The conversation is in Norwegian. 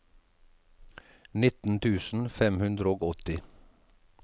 nitten tusen fem hundre og åtti